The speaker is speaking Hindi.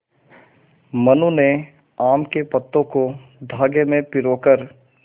मनु ने आम के पत्तों को धागे में पिरो कर